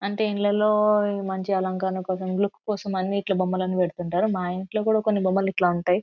అంటే ఇంలల్లో మంచి అలంకరణ కోసం ఇల్లు కోసంమని ఇట్లా బొమ్మలను వెడుతూవుంటారు. మా ఇంట్లో కూడా కొన్ని బొమ్మలు ఇట్లా ఉంటాయి.